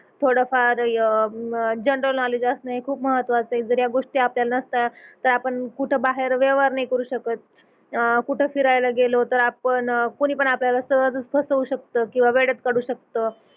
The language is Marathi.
थोडफार अह जनरल नोवलेड्ज असणं हे खूप महत्वाच आहे जर या गोष्टी आपल्याला नसत्या तर आपण कुठ बाहेर व्यवहार नाही करू शकत अह कुठ फिरायला गेलो तर आपण कोणीपण आपल्याला सहजच फसवू शकत किंवा वेड्यात काढू शकत